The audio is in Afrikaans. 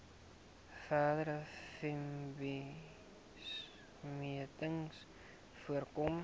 verdere mivbesmetting voorkom